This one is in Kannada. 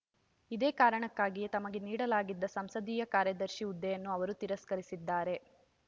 ಇದೇ ಕಾರಣಕ್ಕಾಗಿಯೇ ತಮಗೆ ನೀಡಲಾಗಿದ್ದ ಸಂಸದೀಯ ಕಾರ್ಯದರ್ಶಿ ಹುದ್ದೆಯನ್ನು ಅವರು ತಿರಸ್ಕರಿಸಿದ್ದಾರೆ